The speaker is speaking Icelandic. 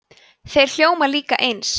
þeir hljóma líka eins